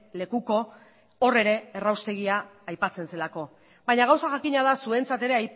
lekuko hor ere erraustegia aipatzen zelako baina gauza jakina da zuentzat ere